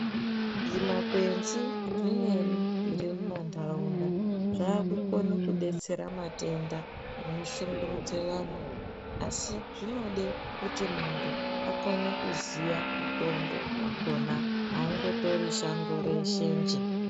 Zvimakwenzi zvimweni zviri mumantaraunda zvakukone kubetsera matenda anoshungurudze vantu. Asi zvinode kuti muntu akone kuziya mutombo vakona haungotori shango reshe njee.